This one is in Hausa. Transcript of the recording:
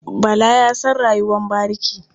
Bala ya san rayuwar bariki.